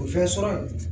O fɛn sɔrɔ